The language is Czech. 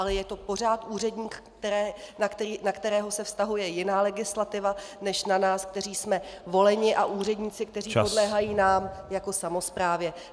Ale je to pořád úředník, na kterého se vztahuje jiná legislativa než na nás, kteří jsme voleni, a úředníky, kteří podléhají nám jako samosprávě.